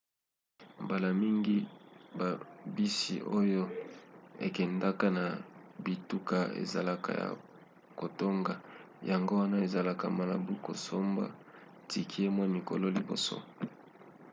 mbala mingi babisi oyo ekendaka na bituka ezalaka ya kotonda yango wana ezalaka malamu kosomba tike mwa mikolo liboso